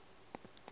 se ke a metšwa ke